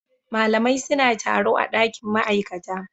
Malamai suna taro a dakin ma'aikata